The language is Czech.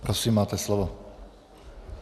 Prosím, máte slovo.